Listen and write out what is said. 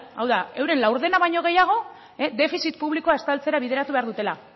hau da euren laurdena baino gehiago defizit publikoa estaltzera bideratu behar dutela hau